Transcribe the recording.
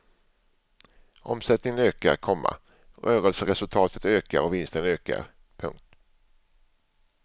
Omsättningen ökar, komma rörelseresultatet ökar och vinsten ökar. punkt